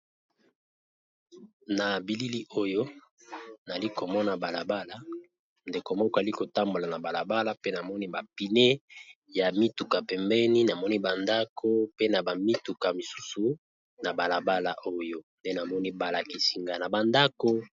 Na bilili oyo nali komona balabala ndeko moko ali kotambola na balabala pe namoni ba pneu ya mituka pembeni namoni ba ndako pe na ba mituka misusu na balabala oyo nde namoni balakisinga na ba ndako.